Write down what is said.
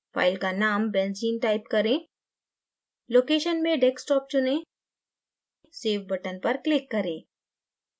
file का name benzene type करें location में desktop चुनें save button पर click करें